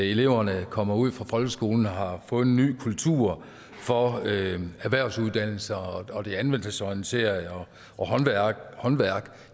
eleverne kommer ud fra folkeskolen og har fået en ny kultur for erhvervsuddannelser og og det anvendelsesorienterede og håndværk